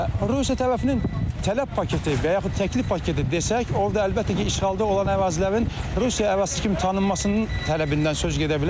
Rusiya tərəfinin tələb paketi və yaxud təklif paketi desək, orda əlbəttə ki, işğalda olan ərazilərin Rusiya ərazisi kimi tanınmasının tələbindən söz gedə bilər.